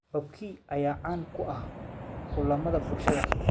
Barbecue ayaa caan ku ah kulamada bulshada.